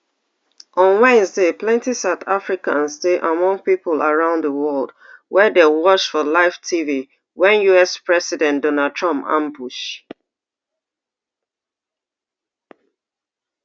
on wednesday plenty south africans dey among pipo around di would wey dey watch for live tv wen us president donald trump ambush